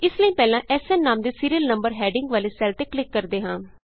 ਇਸ ਲਈ ਪਹਿਲਾਂ ਐਸਐਨ ਨਾਮ ਦੇ ਸੀਰੀਅਲ ਨੰਬਰ ਹੈਡਿੰਗ ਵਾਲੇ ਸੈੱਲ ਤੇ ਕਲਿਕ ਕਰਦੇ ਹਾਂ